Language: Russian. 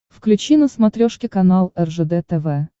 включи на смотрешке канал ржд тв